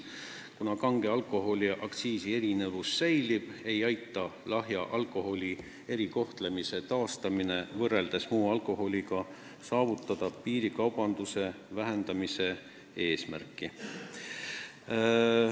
Kuna kange alkoholi aktsiisi erinevus säilib, ei aita lahja alkoholi erikohtlemise taastamine võrreldes muu alkoholiga saavutada piirikaubanduse vähendamise eesmärki.